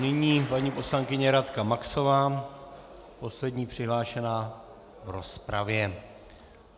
Nyní paní poslankyně Radka Maxová, poslední přihlášená v rozpravě.